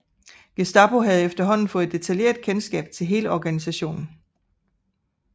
Gestapo havde efterhånden fået detaljeret kendskab til hele organisationen